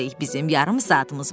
Bizim yarım saatımız var.